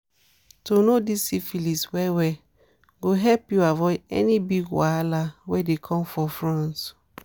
to know this syphilis well well go help u avoid any big wahala were dey come for front